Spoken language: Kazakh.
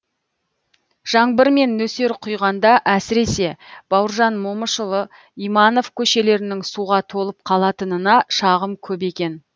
жаңбыр мен нөсер құйғанда әсіресе бауыржан момышұлы иманов көшелерінің суға толып қалатынына шағым көп екен